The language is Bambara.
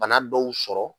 Bana dɔw sɔrɔ